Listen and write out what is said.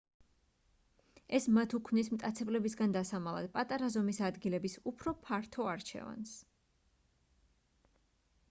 ეს მათ უქმნის მტაცებლებისგან დასამალად პატარა ზომის ადგილების უფრო ფართო არჩევანს